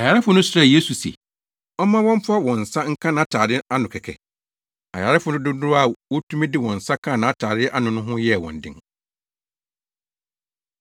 Ayarefo no srɛɛ Yesu se ɔmma wɔmfa wɔn nsa nka nʼatade ano kɛkɛ. Ayarefo dodow a wotumi de wɔn nsa kaa nʼatade ano no ho yɛɛ wɔn den.